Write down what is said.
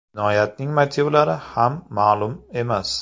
Jinoyatning motivlari ham ma’lum emas.